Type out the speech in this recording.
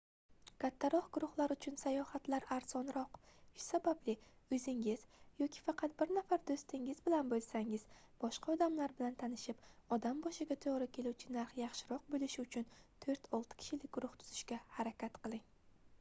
kattaroq guruhlar uchun sayohatlar arzonroq shu sababli oʻzingiz yoki faqat bir nafar doʻstingiz bilan boʻlsangiz boshqa odamlar bilan tanishib odam boshiga toʻgʻri keluvchi narx yaxshiroq boʻlishi uchun toʻrt-olti kishilik guruh tuzishga harakat qiling